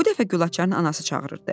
Bu dəfə Gülaçarın anası çağırırdı.